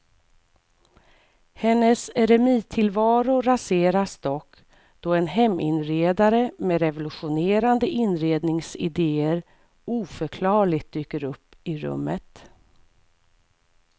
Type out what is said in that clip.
Hennes eremittillvaro raseras dock då en heminredare med revolutionerande inredningsidéer oförklarligt dyker upp i rummet.